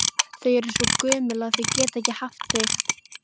Þau eru svo gömul að þau geta ekki haft þig,